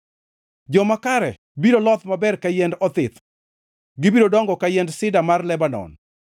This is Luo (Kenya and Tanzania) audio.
Joma kare biro loth maber ka yiend othith, gibiro dongo ka yiend sida mar Lebanon;